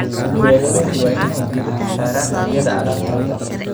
Beeralayda waa inay diirada saaraan tayada alaabtooda